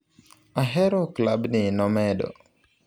Ahero klabni, nomedo.